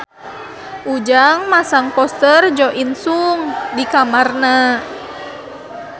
Ujang masang poster Jo In Sung di kamarna